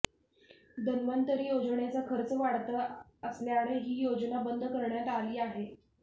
धन्वतंरी योजनेचा खर्च वाढता असल्याने ही योजना बंद करण्यात आली आहे